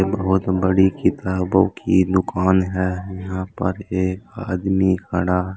बहोत बड़ी किताबों की दुकान है यहां पर एक आदमी खड़ा